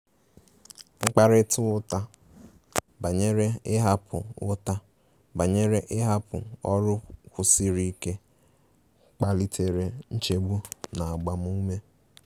Mkparịta ụta banyere ịhapụ ụta banyere ịhapụ ọrụ kwụsiri ike kpalitere nchegbu na agbamume.